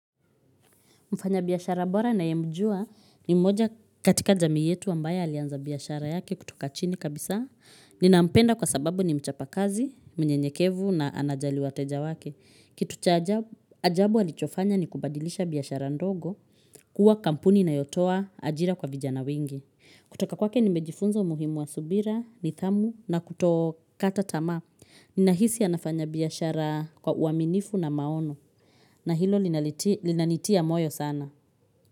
Mfanya biashara bora ninayemjua ni mmoja katika jamii yetu ambaye alianza biashara yake kutoka chini kabisa. Ninampenda kwa sababu ni mchapa kazi, mnyenyekevu na anajali wateja wake. Kitu cha ajabu alichofanya ni kubadilisha biashara ndogo kuwa kampuni inayotoa ajira kwa vijana wengi. Kutoka kwake nimejifunza umuhimu wa subira, nidhamu na kutokata tamaa. Ninahisi anafanya biashara kwa uaminifu na maono na hilo linanitia moyo sana.